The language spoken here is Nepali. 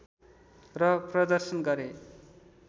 र प्रदर्शन गरे